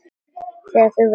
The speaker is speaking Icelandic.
Þegar þú verður ríkur?